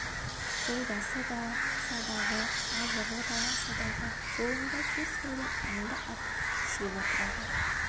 жолдасы да садағы азығы да садағы жолында кез келген аңды атып жеп отырады